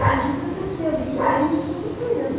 Então a gente aprendeu de pequeno tudo italiano.